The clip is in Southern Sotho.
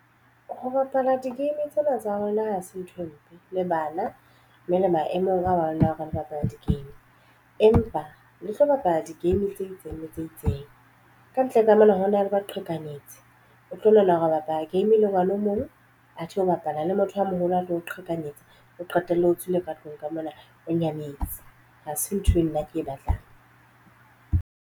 Ho bapala di-game tsena tsa rona ha se nthwe mpe le bana, mme le maemong ana ao re bapala di-game empa le tlo bapala di-game tse itseng le tse itseng. Kantle ka mona hona le ba qhekanyetsi o tlo lokela hore o bapala game e le jwalo o mong athe o bapala le motho a moholo a tlo o qhekanyetsa o qetelle o tswile ka tlung ka mona o nyametse. Hase ntho e nna ke e batlang.